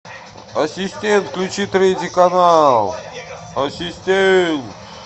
ассистент включи третий канал ассистент